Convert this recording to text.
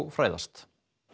fræðast